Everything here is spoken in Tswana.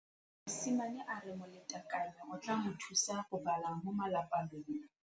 Mosimane a re molatekanyô o tla mo thusa go bala mo molapalong.